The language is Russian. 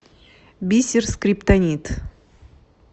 бисер скриптонит